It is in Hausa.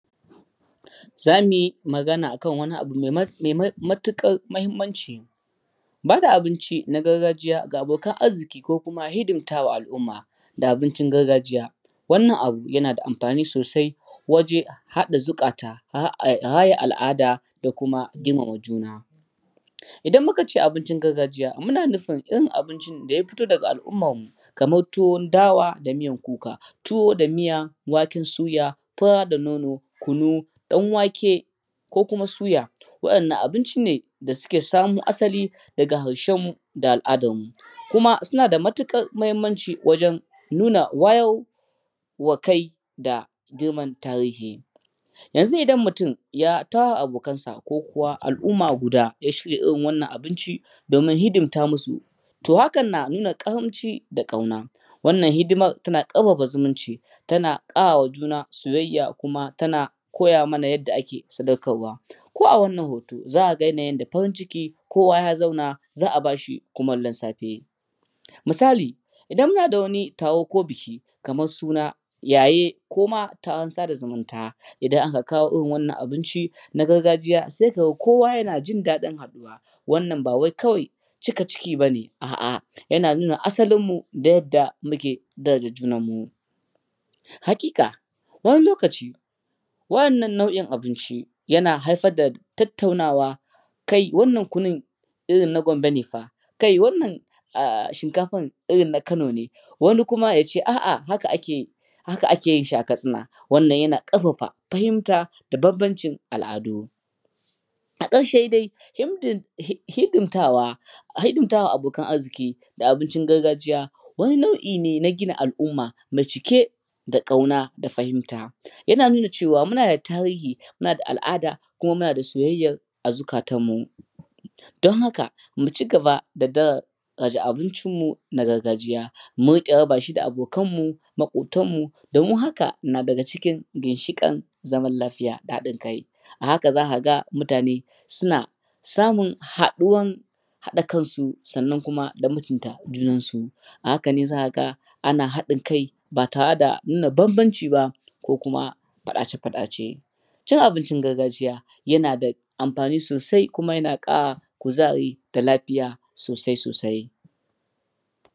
Za mu yi magana akan wani abu mai matuƙar muhimmanci ba da abinci na gargajiya ga abokan arjiƙi ko kuma hidimtawa al'umma da abincin gargajiya wannan abu yana da amfani sosai wajen haɗa zuƙata, raya a al'ada da kuma girmama juna. Idan muka ce abincin gargajiya muna nufin irin abincin da ya fito da ga al'ummarmu, kamar tuwon dawa da miyan kuka, tuwo da miyan waken suya, fura da nono, kunu, ɗan wake, ko kuma suya. Waɗan nan abinci ne da suka samo asali daga ahrshenmu da al'adarmu, kuma suna da matuƙar mahimmanci wajen nuna wayar wa kai da girmanta tariji yanzu idan mutum ya tara abokansa ko kuwa al'umma guda ya shirya irin wannan abinci, domin hidimta musu hakan na nuna karamci da ƙauna wannan hidimar tana ƙarfafa zumunci, tan ƙara juna soyayya kuma tana koya mana yadda ake sadakarawa ko wannan hoto za a ga yanayin da farin ciki kowa ya zauna za'a bashi kumallin safe, misali idan ina da wani taro ko buki, kamar suna, yaye koma taron sada zumunta, idan aka kawo irin wannan abinci na gargajiya sai ka ga kowa na jin daɗin haɗuwa, wannan ba wai cika ciki bane a'a yana nuna asalin mu da yadda muke daraja junanmu. hakika wani lokaci waɗannan nau'in abinci yana haifar da tattaunawa, kai, wannan kunun irin na Gombe ne fa, kai wannan shinkafar irin na Kano ne, wani kuma ya ce a'a haka akeyin shi a Katsina. wannan yana ƙarfafa fahimta da bambancin al'adu. Na ƙarshe dai shidimtawa a hidimtawa abokan arziki da abincin gargajiya, wani nau'i ne na gina al'umma mai cike da ƙauna da fahimta. Yana nuna cewa muna da tarihi, muna da al'ada kuma muna da soyayyar a zukatanmu. Don haka mu ci gaba da daraja abincin mu na gargajiya. Mu riƙa raba shi da abokanmu, maƙwabtanmu, domin hakan na cikin jishiƙan zaman lafiya da haɗin kai ta haka za ka ga mutane suna samun haɗuwan haɗa kansu da kuma mutunta junansu, a haka ne za ga haɗin kai ba tare da nuna bambanci ba, ko kuma faɗace-faɗace. Cin abincin gargajiya yana da amfani sosai kuma yana ƙara kuzari da lafiya sosai-sosai.